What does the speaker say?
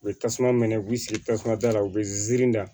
U bɛ tasuma minɛ k'u sigi tasuma da la u bɛ da